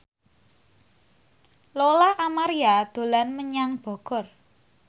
Lola Amaria dolan menyang Bogor